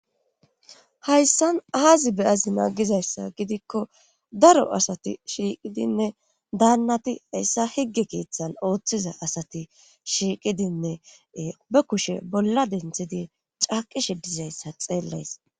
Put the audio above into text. hayssan aazi beyazi naagizayssa gidikko daro asati shiiqidinne daannati hayssa higge keeththan ooththiza asati shiiqidinne be kushe bolla denthidi caaqishe dizayssa xeellays